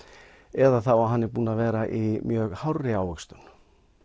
eða þá að hann er búinn að vera í mjög hárri ávöxtun